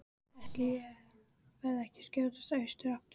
Ætli ég verði ekki að skjótast austur aftur.